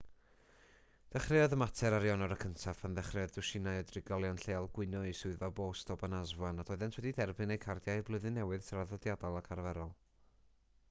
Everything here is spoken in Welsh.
dechreuodd y mater ar ionawr 1af pan ddechreuodd dwsinau o drigolion lleol gwyno i swyddfa bost obanazwa nad oeddent wedi derbyn eu cardiau blwyddyn newydd traddodiadol ac arferol